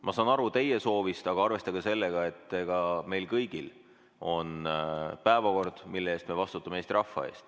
Ma saan aru teie soovist, aga arvestage sellega, et meil kõigil on ees päevakord, mille eest me vastutame Eesti rahva ees.